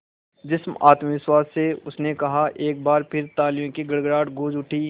जिस आत्मविश्वास से उसने कहा एक बार फिर तालियों की गड़गड़ाहट गूंज उठी